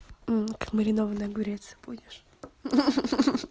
маринованный огурец будешь